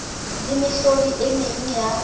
le mehlodi e meng ya